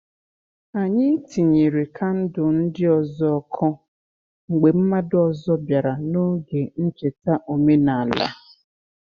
Anyị tinyere kandụl ndị ọzọ ọkụ mgbe mmadụ ọzọ bịara n’oge ncheta omenala.